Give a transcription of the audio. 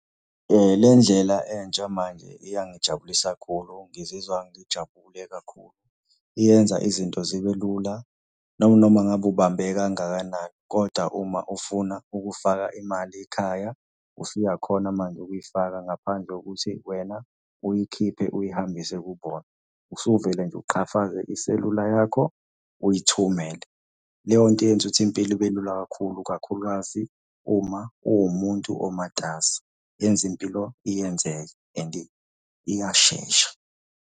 Le ndlela entsha manje iyangijabulisa khulu ngizizwa ngijabule kakhulu. Iyenza izinto zibe lula noma ngabe ubambeke kangakanani, kodwa uma ufuna ukufaka imali ekhaya, usuyakhona manje ukuyifaka ngaphandle kokuthi wena uyikhiphe uyihambise kubona. Usuvele nje uqhafaze iselula yakho, uyithumele. Leyo nto yenza ukuthi impilo ibe lula kakhulu, kakhulukazi uma uwumuntu omatasa, yenza impilo iyenzeke and iyashesha.